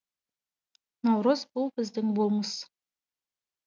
наурыз бұл біздің болмыс